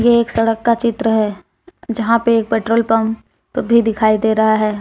ये एक सड़क का चित्र है जहां पे एक पेट्रोल पंप भी दिखाई दे रहा है।